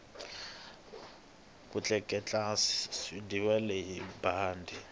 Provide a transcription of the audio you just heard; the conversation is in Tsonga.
ku tleletla swiendliwa hi bandi